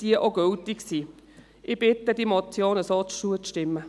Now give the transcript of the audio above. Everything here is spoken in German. Ich bitte darum, dieser Motion so zuzustimmen.